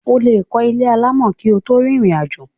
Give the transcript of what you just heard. o lè kọ́ ilé alámọ̀ kí o tó rìnrìn àjò.